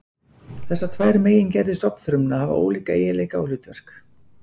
Þessar tvær megingerðir stofnfrumna hafa ólíka eiginleika og hlutverk.